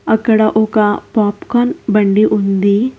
అక్కడ ఒక పోప్కాన్ బండి ఉంది.